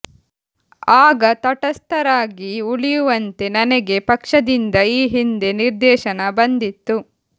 ಆಗ ತಟಸ್ಥರಾಗಿ ಉಳಿಯುವಂತೆ ನನಗೆ ಪಕ್ಷದಿಂದ ಈ ಹಿಂದೆ ನಿರ್ದೇಶನ ಬಂದಿತ್ತು